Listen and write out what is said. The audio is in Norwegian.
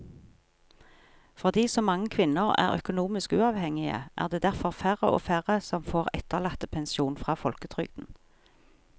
Fordi så mange kvinner er økonomisk uavhengige er det derfor færre og færre som får etterlattepensjon fra folketrygden.